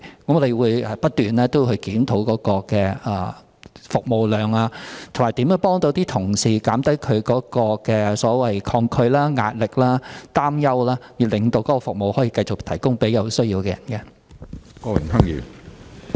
我們會不斷檢討有關的服務量，以及如何幫助同事減低抗拒、舒減壓力及擔憂，以致繼續提供服務給有需要的人士。